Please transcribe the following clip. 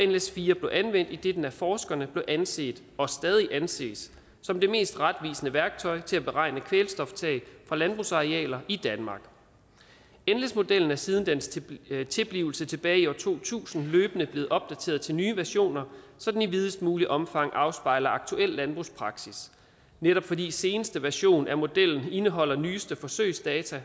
nles4 blev anvendt idet den af forskerne blev anset og stadig anses som det mest retvisende værktøj til at beregne kvælstoftab fra landbrugsarealer i danmark nles modellen er siden dens tilblivelse tilbage i år to tusind løbende blevet opdateret til nye versioner så den i videst muligt omfang afspejler aktuel landbrugspraksis netop fordi seneste version af modellen indeholder nyeste forsøgsdata